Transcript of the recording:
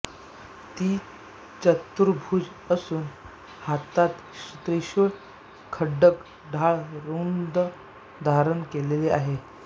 ती चतुर्भूज असून हातात त्रिशूळ खड्ग ढाल रूंड धारण केलीली आहे